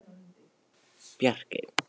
Bjarkey